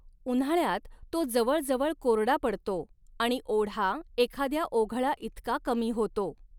उन्हाळ्यात तो जवळजवळ कोरडा पडतो आणि ओढा एखाद्या ओघळाइतका कमी होतो.